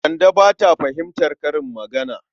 Kande ba ta fahimtar karin magana.